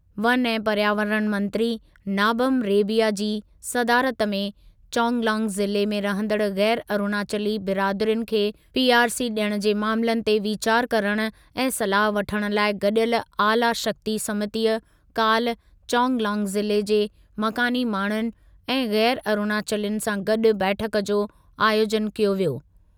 One ऐं पर्यावरण मंत्री नाबम रेबिया जी सदारत में चांगलांग ज़िले में रहंदड़ु ग़ैर अरुणाचली बिरादरियुनि खे पीआरसी ॾियणु जे मामलनि ते वीचारु करण ऐं सलाह वठणु लाइ गॾियल, आला शक्ति समितीअ काल्ह चांगलांग ज़िले के मकानी माण्हुनि ऐं ग़ैर अरुणाचलियुनि सां गॾु बैठकु जो आयोजनु कयो वियो।